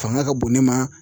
Fanga ka bon ne ma